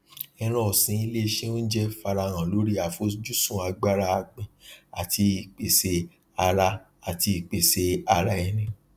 ẹran ọsin ilé iṣẹ ounjẹ farahàn lórí afojusun agbára agbìn àti ìpèsè ara àti ìpèsè ara ẹni